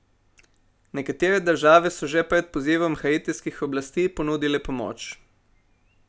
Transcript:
Nekatere države so že pred pozivom haitijskih oblasti ponudile pomoč.